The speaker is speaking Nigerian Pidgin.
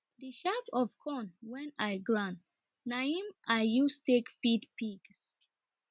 the shaff of corn wen i grind na im i use take feed pigs